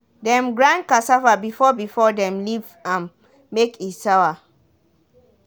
dem grind cassava before before dem leave am make e sour